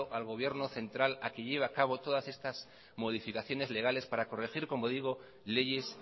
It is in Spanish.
al gobierno central a que lleve a cabo todas estas modificaciones legales para corregir leyes